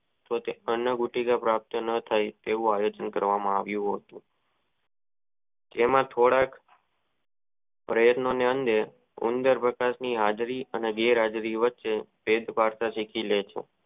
અનુભૂતિ નો વાક્યો ન થઇ તેઓ પ્રયતન કરવામાં આવ્યો હતો તેમાં થોડાક પ્રયતતો ની અંદર ઉદાર ની હાજરી અને ગેર હાજરી વચ્ચે